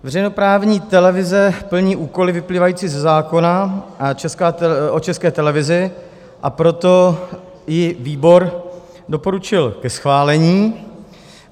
Veřejnoprávní televize plní úkoly vyplývající ze zákona o České televizi, a proto ji výbor doporučil ke schválení.